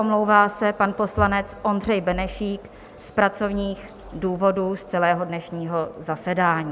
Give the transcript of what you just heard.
Omlouvá se pan poslanec Ondřej Benešík z pracovních důvodů z celého dnešního zasedání.